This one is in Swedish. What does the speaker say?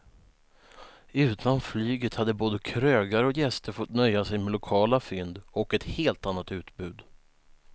Utan flyget hade både krögare och gäster fått nöja sig med lokala fynd och ett helt annat utbud.